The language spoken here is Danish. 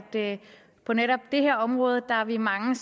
på netop det her område er vi mange